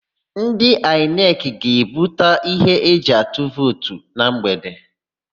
Ndị Aịnekị ga-ebuta íhé eji atụ vootu na mgbede.